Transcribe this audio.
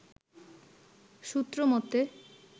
সূত্র মতে